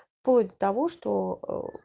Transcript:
в плоть до того что